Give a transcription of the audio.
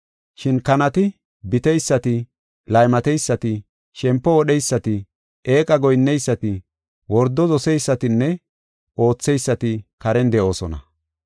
Shin kanati, biteysati, laymateysati, shempo wodheysati, eeqa goyinneysati, wordo doseysatinne ootheysati karen de7oosona.